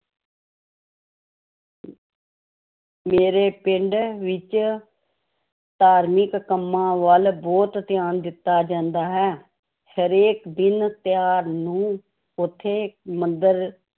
ਮੇਰੇ ਪਿੰਡ ਵਿੱਚ ਧਾਰਮਿਕ ਕੰਮਾਂ ਵੱਲ ਬਹੁਤ ਧਿਆਨ ਦਿੱਤਾ ਜਾਂਦਾ ਹੈ, ਹਰੇਕ ਦਿਨ ਤਿਉਹਾਰ ਨੂੰ ਉੱਥੇ ਮੰਦਿਰ